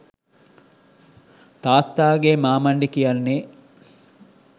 තාත්තාගේ මාමණ්ඩි කියන්නේ